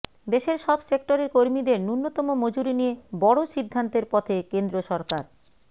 দেশের সব সেক্টরের কর্মীদের ন্যূনতম মজুরি নিয়ে বড় সিদ্ধান্তের পথে কেন্দ্র সরকার